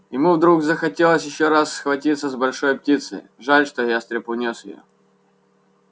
ему вдруг захотелось ещё раз схватиться с большой птицей жаль что ястреб унёс её